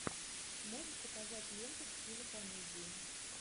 можешь показать ленту в стиле комедии